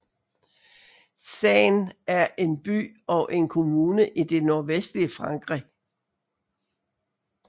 Caen er en by og en kommune i det nordvestlige Frankrig